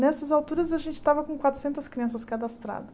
Nessas alturas, a gente estava com quatrocentas crianças cadastradas.